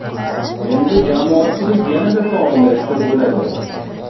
Endi jamoatchilik yanada faollashsa bo‘ladi.